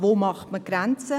Wo zieht man die Grenze?